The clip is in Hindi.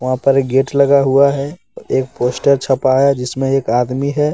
वहां पर एक गेट लगा हुआ है एक पोस्टर छपा है जिसमें एक आदमी है।